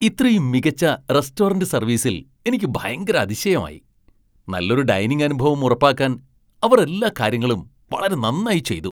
ഇത്രയും മികച്ച റെസ്റ്റോറന്റ് സർവീസിൽ എനിക്ക് ഭയങ്കര അതിശയമായി, നല്ലൊരു ഡൈനിംഗ് അനുഭവം ഉറപ്പാക്കാൻ അവർ എല്ലാ കാര്യങ്ങളും വളരെ നന്നായി ചെയ്തു.